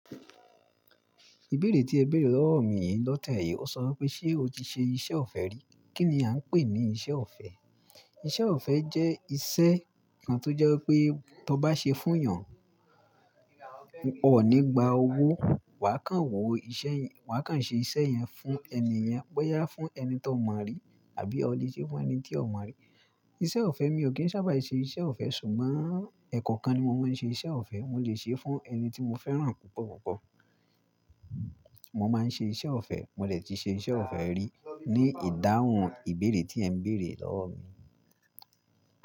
Ìbéèrè tí ẹ béèrè lọ́wọ́ mi yìí lọ́tẹ̀ yìí, ó sọ wipé, "Ṣé o ti ṣe iṣẹ́ ọ̀fẹ́ rí?" Kí ni a ń pè ní iṣẹ́ ọ̀fẹ́? Iṣẹ́ ọ̀fẹ́ jẹ́ iṣẹ́ kan tó jẹ́ pé tó bá ṣe fún'yàn, o ò ní gba owó. Wà á kàn wòó iṣẹ́ yẹn, wà á kàn ṣe iṣẹ́ yẹn fún ẹni yẹn, bóyá fún ẹni tí o mọ̀ rí àbí o lè ṣe fún ẹni tí o mọ̀ rí. Iṣẹ́ ọ̀fẹ́, mi ò kí ń sábà ṣe iṣẹ́ ọ̀fẹ́ ṣùgbọ́n ẹ̀kọ̀okan ni mo máa ń ṣe iṣẹ́ ọ̀fẹ́. Mo lè ṣe fún ẹni tí mo fẹ́ràn púpọ̀ púpọ̀. Mo máa ń ṣe iṣẹ́ ọ̀fẹ́, mo dè ti ṣe iṣẹ́ ọ̀fẹ́ rí. Ni ìdáhùn ìbéèrè tí ẹ ń béèrè lọ́wọ́ mi.